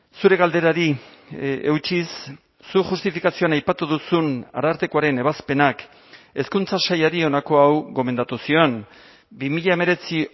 zure galderari eutsiz zuk justifikazioan aipatu duzun arartekoaren ebazpenak hezkuntza sailari honako hau gomendatu zion bi mila hemeretzi